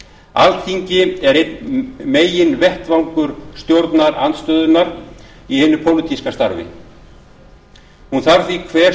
alþingi er einn meginvettvangur stjórnarandstöðunnar í hinu pólitíska starfi hún þarf því hver